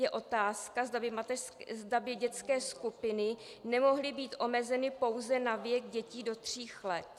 Je otázka, zda by dětské skupiny nemohly být omezeny pouze na věk dětí do tří let.